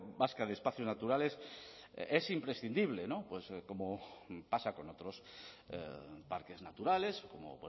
vasca de espacios naturales es imprescindible como pasa con otros parques naturales como